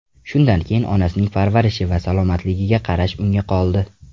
Shundan keyin onasining parvarishi va salomatligiga qarash unga qoldi.